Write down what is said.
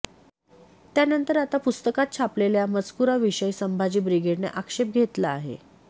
त्यानंतर आता पुस्तकात छापलेल्या या मजकुराविषयी संभाजी ब्रिगेडने आक्षेप घेतला आहे